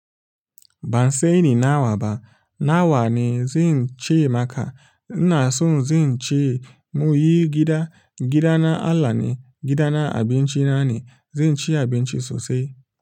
Ban sani na wa ba, na wa ne zan ci maka. Ina so zan ci muyi gida, gida na Allah ne, gida na abinci na ne, zan ci abinci sosai.